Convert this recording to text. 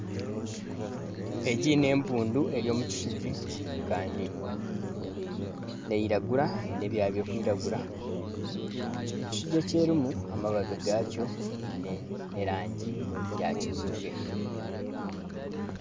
Egi n'empundu eri omu kishugi kandi neyiragura eine ebyooya birikwiragura ekishugi eki erimu amabaabi gakyo giine erangi ya kijubwe.